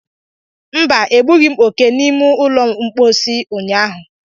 Mba, egbughi m oke n'ụlọ mposi ụnyaahụ.